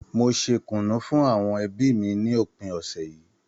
Mo ṣe kùnú fún àwọn ẹbí mi ní òpin ọ̀sẹ̀ yìí